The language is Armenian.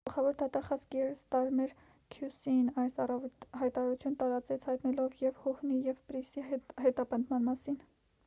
գլխավոր դատախազ կիեր ստարմեր քյու-սի-ն այս առավոտ հայտարարություն տարածեց հայտնելով և հուհնի և պրիսի հետապնդման մասին